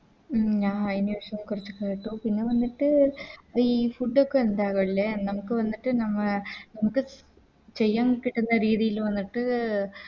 ഉം ഞാ ആയിനേശം കൊറച്ച് കേട്ടു പിന്നെ വന്നിട്ട് ഈ Food ഒക്കെ ഇണ്ടാവൂലെ നമുക്ക് വന്നിട്ട് നമ്മളെ നമുക്ക് ചെയ്യാൻ കിട്ടുന്ന രീതില് വന്നിട്ട്